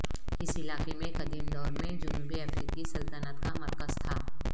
اس علاقے میں قدیم دور میں جنوبی افریقی سلطنت کا مرکز تھا